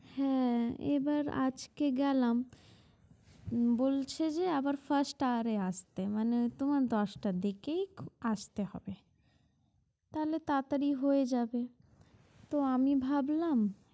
হ্যাঁ এবার আজকে গেলাম বলছে যে আবার first hour এ আসতে মানে তোমার দশটার দিকেই আসতে হবে তাহলে তাতাড়ি হয়ে যাবে তো আমি ভাবলাম